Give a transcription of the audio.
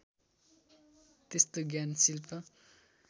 त्यस्तो ज्ञान शिल्प